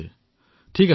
ধন্যবাদ মহোদয়